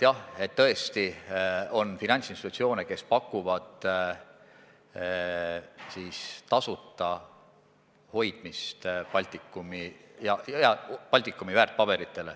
Jah, tõesti on finantsinspektsioone, mis hoiustavad tasuta Baltikumi väärtpabereid.